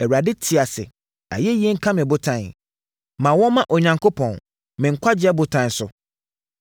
“ Awurade te ase! Ayɛyi nka me botan, ma wɔmma Onyankopɔn, me nkwagyeɛ botan so.